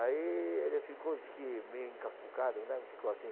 Aí ele ficou disse que meio encacucado, né, ficou assim.